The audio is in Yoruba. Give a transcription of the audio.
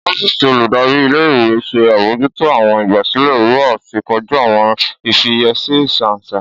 Ọfíìsì oludari íle-ìwe n ṣe abojuto awọn igbasilẹ wiwa ati koju awọn ifiyesi isansa.